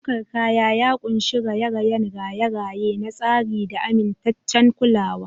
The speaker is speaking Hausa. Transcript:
Ɗaukar kaya ya ƙunshi raye-rayen raye-raye na tsari da amintaccen kulawa.